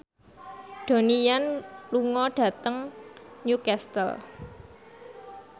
Donnie Yan lunga dhateng Newcastle